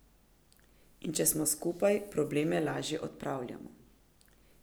In če smo skupaj, probleme lažje odpravljamo.